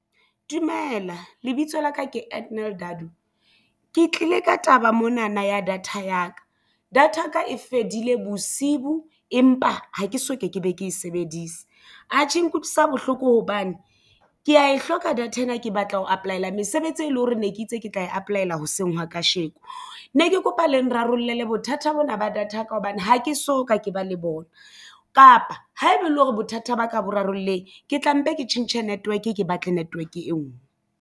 Dumela, lebitso la ka ke Edanal Dadu. Ke tlile ka taba monana ya data ya ka data ya ka e fedile bosibu empa ha ke so ke ke be ke e sebedise. Atjhe, e nkutlwisa bohloko hobane ke ya e hloka data ena ke batla ho apply-la mesebetsi e leng hore ne ke itse ke tla e apply-la hoseng hwa kasheko ne ke kopa le rarollela bothata bona ba data ya ka hobane ha ke so ka ke ba le bona kapa haeba e le hore bothata ba ka bo rarolleng ke tla mpe ke tjhentjhe network ke batle network e nngwe.